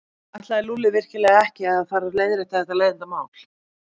Ætlaði Lúlli virkilega ekki að fara að leiðrétta þetta leiðindamál?